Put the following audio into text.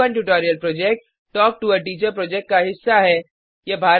spoken tutorial project talk to a teacher project का हिस्सा है